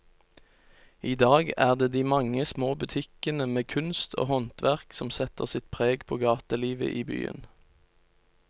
I dag er det de mange små butikkene med kunst og håndverk som setter sitt preg på gatelivet i byen.